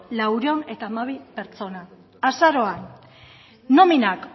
laurehun eta hamabi pertsona azaroan nominak